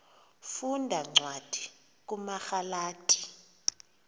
funda cwadi kumagalati